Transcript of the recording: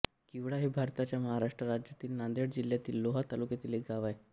किवळा हे भारताच्या महाराष्ट्र राज्यातील नांदेड जिल्ह्यातील लोहा तालुक्यातील एक गाव आहे